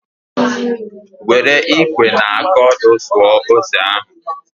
Were ikwe na aka ọdụ suo ose ahụ